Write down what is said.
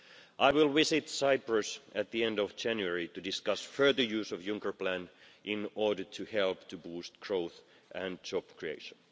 I will visit Cyprus at the end of January to discuss further use of the Juncker Plan in order to help boost growth and job creation.